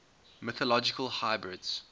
mythological hybrids